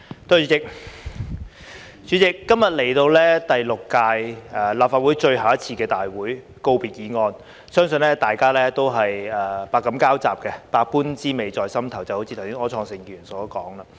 代理主席，今日來到第六屆立法會最後一次大會，辯論告別議案，相信大家都是百感交雜，百般滋味在心頭，就像剛才柯創盛議員所說。